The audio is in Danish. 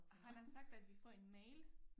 Har man sagt at vi får en mail?